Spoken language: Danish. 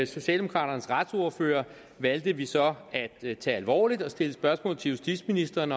socialdemokraternes retsordfører valgte vi så at tage alvorligt og vi stillede spørgsmål til justitsministeren